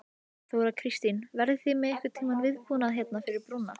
Þóra Kristín: Verðið þið með einhvern viðbúnað hérna við brúna?